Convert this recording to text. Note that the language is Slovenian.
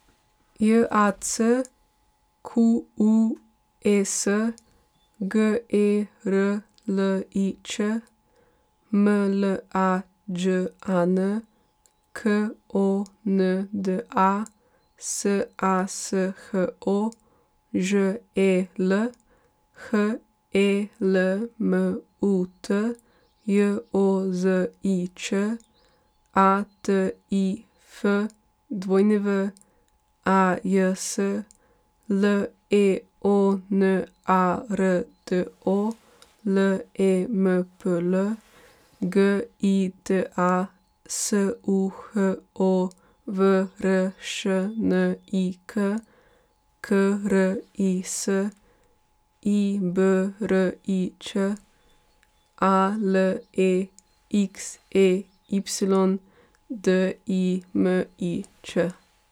J A C Q U E S, G E R L I Č; M L A Đ A N, K O N D A; S A S H O, Ž E L; H E L M U T, J O Z I Č; A T I F, W A J S; L E O N A R D O, L E M P L; G I T A, S U H O V R Š N I K; K R I S, I B R I Ć; A L E X E Y, D I M I Ć.